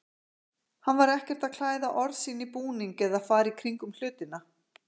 Hann var ekkert að klæða orð sín í búning eða fara í kringum hlutina.